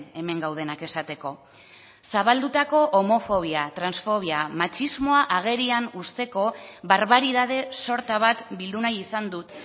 hemen gaudenak esateko zabaldutako homofobia transfobia matxismoa agerian uzteko barbaridade sorta bat bildu nahi izan dut